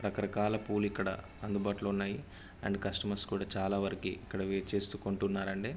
రకరకాల పూవులు ఇక్కడ అందుబాటులో ఉన్నాయి. అండ్ కస్టమర్స్ కూడా చాలా వరకి ఇక్కడ వెయిట్ చేస్తూ కొంటున్నారండి.